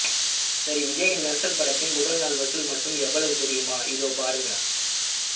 சரி விஜய்யின் மெர்சல் படத்தின் முதல் நாள் வசூல் மட்டும் எவ்வளவு தெரியுமா இதோ பாருங்க